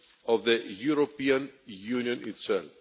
of the European Union itself.